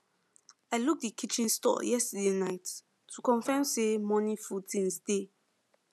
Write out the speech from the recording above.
i look the kitchen store yesterday night to confirm say morning food things dey